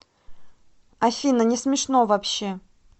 афина несмешно вообще